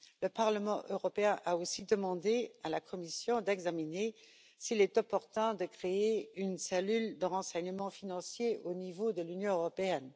Le Parlement européen a aussi demandé à la Commission d'examiner s'il est opportun de créer une cellule de renseignement financier au niveau de l'Union européenne.